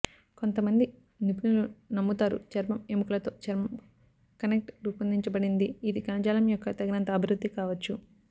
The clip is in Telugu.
కొంతమంది నిపుణులు నమ్ముతారు చర్మం ఎముకలు తో చర్మం కనెక్ట్ రూపొందించబడింది ఇది కణజాలం యొక్క తగినంత అభివృద్ధి కావచ్చు